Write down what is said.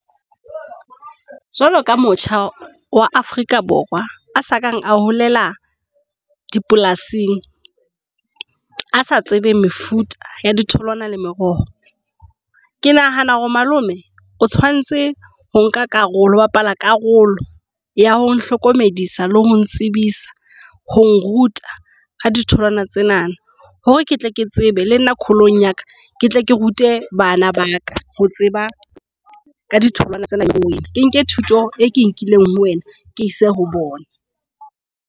Jwalo ka motjha wa Afrika Borwa a sakang a holela dipolasing, a sa tsebeng mefuta ya ditholwana le meroho. Ke nahana hore malome o tshwantse ho nka karolo ho bapala karolo ya ho nhlokomedisa le ho ntsebisa ho nruta ka ditholwana tsena. Hore ke tle ke tsebe le nna kgolong ya ka ke tle ke rute bana ba ka ho tseba ka ditholwana. Ke nke thuto e ke nkileng ho wena, ke ise ho bona.